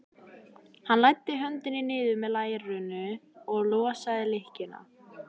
Hann læddi höndinni niður með lærinu og losaði lykkjuna.